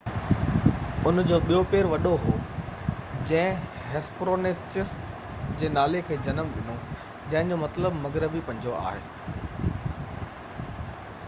ان جو ٻيو پير وڏو هو جنهن هيسپرونيچس جي نالي کي جنم ڏنو جنهن جو مطلب مغربي پنجو آهي